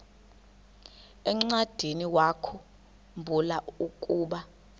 encwadiniwakhu mbula ukuba